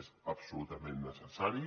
és absolutament necessari